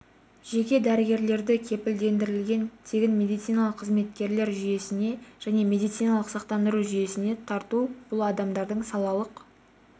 жеке дәрігерлерді кепілдендірілген тегін медициналық қызметтер жүйесіне және медициналық сақтандыру жүйесіне тарту бұл адамдардың салалық